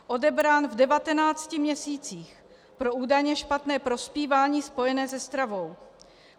Odebrán v 19 měsících pro údajně špatné prospívání spojené se stravou.